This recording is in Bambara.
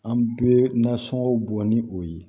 An bɛ nasɔngɔw bɔn ni o ye